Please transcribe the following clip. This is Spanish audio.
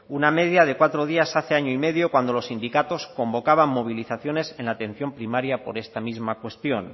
una media de cuatro días hace año y medio cuando los sindicatos convocaban movilizaciones en la atención primaria por esta misma cuestión